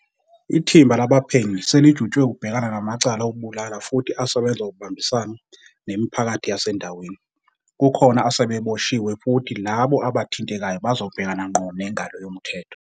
Ithimba labaphenyi selijutshwe ukubhekana namacala okubulala futhi asebenza ngokubambisana nemipha kathi yasendaweni. Kukhona asebeboshiwe futhi labo aba thintekayo bazobhekana ngqo nengalo yomthetho.